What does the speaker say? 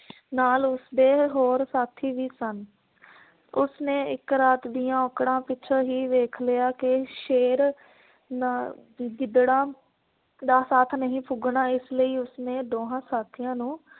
ਨਾਲ ਉਸਦੇ ਹੋਰ ਸਾਥੀ ਵੀ ਸਨ। ਉਸਨੇ ਇਕ ਰਾਤ ਦੀਆਂ ਔਕੜਾਂ ਪਿੱਛੋਂ ਹੀ ਵੇਖ ਲਿਆ ਕੇ ਸ਼ੇਰ ਨਾ ਗਿਦੜਾਂ ਦਾ ਸਾਥ ਨਹੀਂ ਫ਼ੁਗਣਾ । ਇਸ ਲਈ ਉਸ ਨੇ ਦੋਹਾਂ ਸਾਥੀਆਂ ਨੂੰ